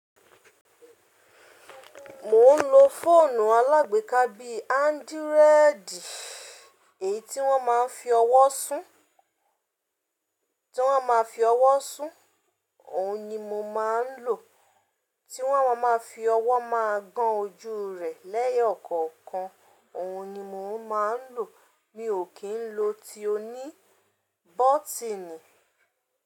Mo ń lo fóònù alágbèéká bí Android, èyí tí wọ́n má fi ọwọ́ sún, tí wọ́n má fi ọwọ́ sún. Òun ni mo má ń lò, tí wọ́n má má fi ọwọ́ má gán ojú rẹ̀ lẹ́yọkọ̀ọ̀kan òun ni mo má ń lò. Mi ò kì ń lo tí ó ní bọ́tìnì.